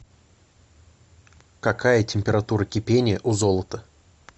какая температура кипения у золото